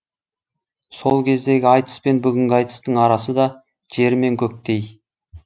сол кездегі айтыс пен бүгінгі айтыстың арасы да жер мен көктей